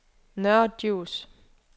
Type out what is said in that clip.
Nørre Djurs